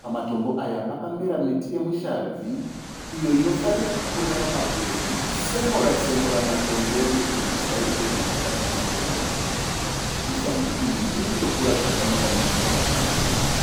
Pamatombo aya pakamera miti yemushavhi. Iyo inofarira kukurira pamabwe ichitsenura-tsemura matombo nokuti midzi yayo inopinda napakati pamatombo. Mishavhi iyi irikutokura zvakanaka midzi yakati tare-tare.